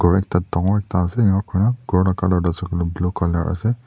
Aro ekta dangor ekta ase enika kurna ghor la colour tuh ase kole blue colour ase.